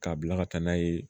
K'a bila ka taa n'a ye